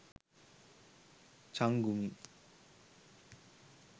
changumi